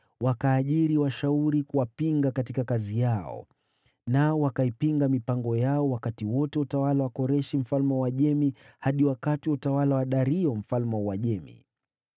Wakaajiri washauri kuwapinga katika kazi yao, nao wakaipinga mipango yao wakati wote wa utawala wa Koreshi mfalme wa Uajemi hadi wakati wa utawala wa Dario mfalme wa Uajemi.